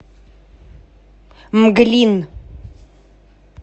мглин